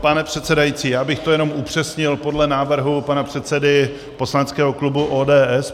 Pane předsedající, já bych to jenom upřesnil podle návrhu pana předsedy poslaneckého klubu ODS.